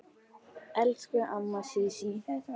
Elsku amma Sísí.